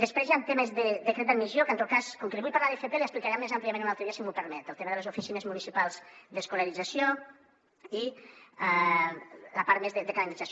després hi han temes de decret d’admissió que en tot cas com que li vull parlar d’fp li explicaré més àmpliament un altre dia si m’ho permet el tema de les oficines municipals d’escolarització i la part més de calendarització